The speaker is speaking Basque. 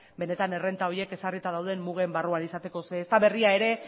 benetan errenta horiek ezarrita dauden mugen barruan izateko ez da berria ere